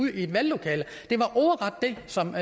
i et valglokale det var ordret det som